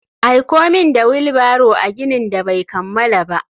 Aiko min da wheel barrow a ginin da bai kammala ba.